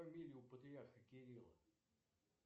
фамилию патриарха кирилла